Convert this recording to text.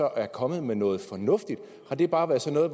er kommet med noget fornuftigt har det bare været sådan at